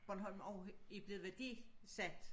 Bornholm også er blevet værdisat